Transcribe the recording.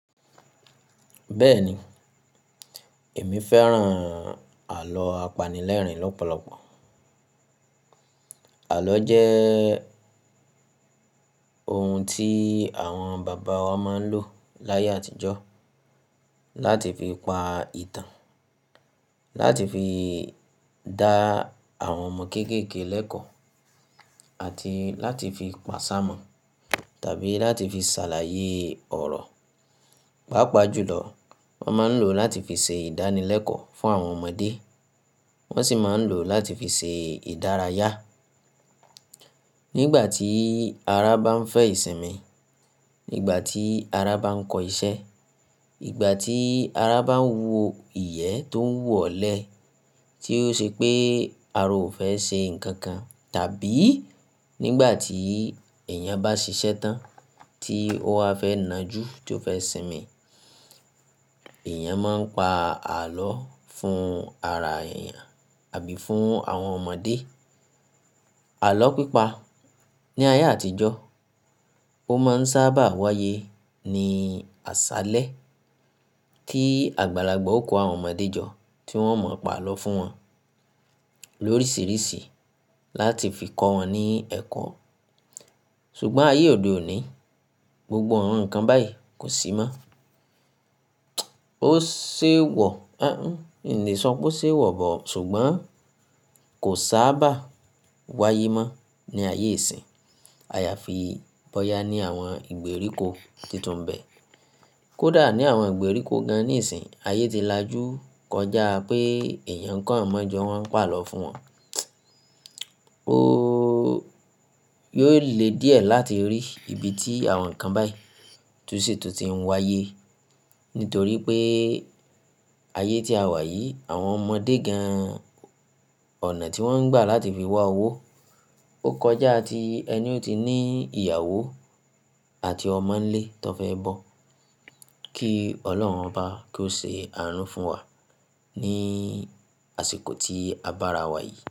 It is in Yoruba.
Bẹ́ẹ̀ni, èmi fẹ́ràn àlọ́ apanilẹ́rìn lọ́pọ̀lọpọ̀. Àlọ́ jẹ́ ohun tí àwọn bàbá wa máa ń lò láyé àtijọ́ láti fi pa ìtàn, láti fi dá àwọn ọmọ kéékèèké lẹ́kọ̀ọ́ àti láti fi pàṣá mọ̀ tàbí láti fi ṣàlàyé ọ̀rọ̀. Pápá jùlọ wọ́n máa ń lò ó láti fi ṣe ìdánilẹ́kọ̀ọ́ fún àwọn ọmọdé, wọ́n sì máa ń lò ó láti fi ṣe ìdárayá. Nígbà tí ara bá ń fẹ́ ìsinmi, nígbà tí ara bá ń kọ ìṣẹ́, ìgbà tí ara bá ń wu iyẹ̀ tó wù ọ́ lẹ́, tí ó ṣe pé ara ò fẹ́ ṣe nǹkan kan, tàbí nígbà tí èèyàn bá ṣiṣẹ́ tán tí ó wa fẹ́ nà jú tí ó fẹ́ sinmi, èèyàn máa ń pa àlọ́ fún ara èèyàn àbí fún àwọn ọmọdé. Àlọ́ pípa ní ayé àtijọ́, ó máa ń sábà wáyé ní àṣálẹ́ tí àgbàlagbà ó kọ àwọn ọmọdé jọ tí wọ́n mọ̀ọ́ pa àlọ́ fún wọn lóríṣìíríṣìí láti fi kọ wọn ní ẹ̀kọ́. Ṣùgbọ́n ayé òde òní, gbogbo àwọn nǹkan báyìí kò sí mọ́. Ó ṣe wọ̀, ẹ́ nǹkí sọ pé ó ṣe wọ̀ bọ̀, ṣùgbọ́n kò sábà wáyé mọ́ ní ayé ìsín. A ya fi bọ́yá ní àwọn ìgbèríko tuntun bẹ́ẹ̀. Kódà ní àwọn ìgbèríko gan-an níìsín, ayé ti lajú kọjá pé èèyàn kàn omọ́ jọ wọ́n ń pa àlọ́ fún wọn. Ó yóò le díẹ̀ láti rí ibi tí àwọn nǹkan báyìí tún sì tún ti ń wáyé. Nítorí pé ayé tí a wà yìí, àwọn ọmọdé gan-an ọ̀nà tí wọ́n ń gbà láti fi wá owó, ó kọjá tí ẹni ò tí ní ìyàwó àti ọmọ nílé tó fẹ́ bọ́. Kí Ọlọ́run bá kí ó ṣe àànú fún wa ní àsìkò tí a bá ra wà yìí.